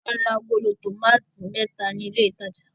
A ra agolo tòmátì mẹ́ta ní ilé-ìtajà.